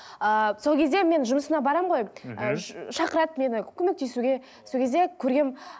ыыы сол кезде мен жұмысына барамын ғой ыыы шақырады мені көмектесуге сол кезде көргенмін